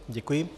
Děkuji.